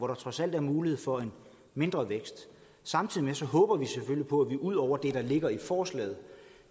der trods alt er mulighed for en mindre vækst samtidig håber vi selvfølgelig på at vi ud over det der ligger i forslaget